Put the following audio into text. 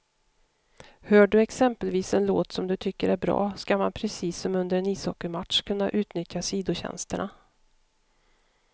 Hör du exempelvis en låt som du tycker är bra, ska man precis som under en ishockeymatch kunna utnyttja sidotjänsterna.